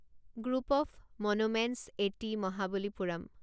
group of monuments এটি মহাবলীপুৰম